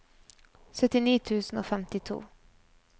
syttini tusen og femtito